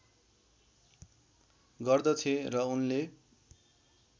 गर्दथे र उनले